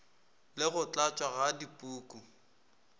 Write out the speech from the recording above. le go tlatšwa ga dipuku